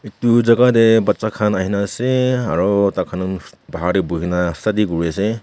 tu jaka tae bacha khan ahina ase aro takhan toh bahar tae boina study kuriase.